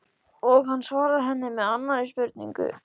Og hann svarar henni með annarri spurningu